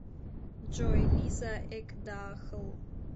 джой лиза экдахл